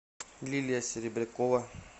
лилия серебрякова